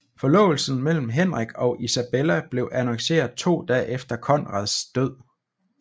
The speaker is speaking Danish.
Forlovelsen mellem Henrik og Isabella blev annonceret to dage efter Konrads død